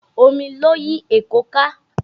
Omi ló yí Èkó ká